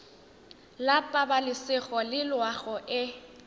la pabalesego le loago e